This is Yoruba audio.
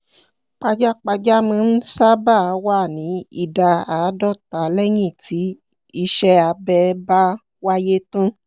pajápajá máa n sábà wá ní ìdá àádọ́ta léyìn tí iṣẹ́-abẹ bá wáyé tán